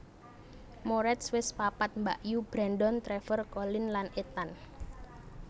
Moretz wis papat mbakyu Brandon Trevor Colin lan Ethan